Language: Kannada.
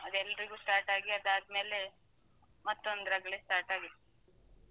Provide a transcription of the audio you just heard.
ಹ. ಅದು ಎಲ್ರಿಗು ಸ್ಟಾರ್ಟ್ ಆಗಿ ಆದಾದ್ಮೇಲೇ ಮತ್ತೊಂದು ರಗ್ಳೆ start ಆಗ್ತದೆ.